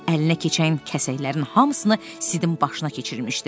Əlinə keçən kəsəklərin hamısını Sidin başına keçirmişdi.